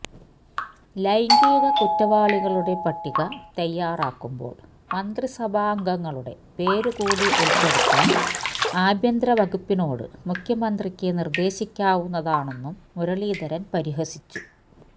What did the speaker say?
ലൈംഗിക കുറ്റവാളികളുടെ പട്ടിക തയ്യാറാക്കുമ്പോള് മന്ത്രിസഭാംഗങ്ങളുടെ പേരു കൂടി ഉള്പ്പെടുത്താന് ആഭ്യന്തരവകുപ്പിനോട് മുഖ്യമന്ത്രിയ്ക്ക് നിര്ദ്ദേശിക്കാവുന്നതാണെന്നും മുരളീധരന് പരിഹസിച്ചു